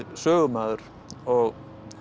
sögumaður og